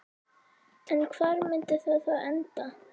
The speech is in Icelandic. En hvar myndi það þá enda?